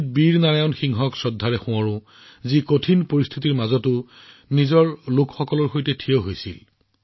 জটিল পৰিস্থিতিত নিজৰ মানুহৰ কাষত থিয় দিয়া শ্বহীদ বীৰ নাৰায়ণ সিঙক আমি সম্পূৰ্ণ শ্ৰদ্ধাৰে স্মৰণ কৰিছো